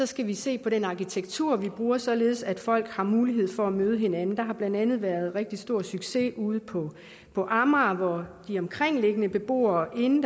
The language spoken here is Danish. skal vi se på den arkitektur vi bruger således at folk har mulighed for at møde hinanden der har blandt andet været rigtig stor succes ude på på amager hvor de omkringboende beboere inden